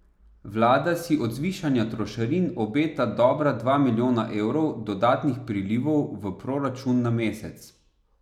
Vlada si od zvišanja trošarin obeta dobra dva milijona evrov dodatnih prilivov v proračun na mesec.